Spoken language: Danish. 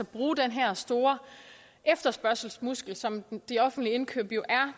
bruge den her store efterspørgselsmuskel som de offentlige indkøb jo er